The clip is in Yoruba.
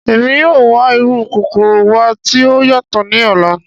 Emi yoo wa iru kokoro wa ti o yatọ ni ọla.